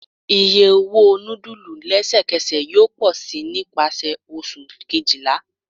Iye owo awọn nudulu lẹsẹkẹsẹ yoo pọ si nipasẹ Oṣu kejila